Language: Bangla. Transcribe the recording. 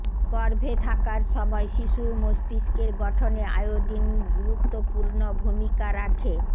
গর্ভে থাকার সময় শিশুর মস্তিষ্কের গঠনে আয়োডিন গুরুত্বপূর্ণ ভূমিকা রাখে